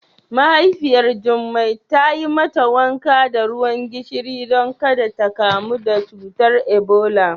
Mahaifiyar Jummai ta yi mata wanka da ruwan gishiri don ƙada ta ƙamu da cutar Ebola.